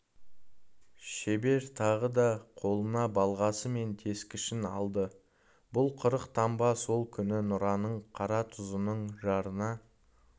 шебер тағы да қолына балғасы мен тескішін алды бұл қырық таңба сол күні нұраның қаратұзының жарына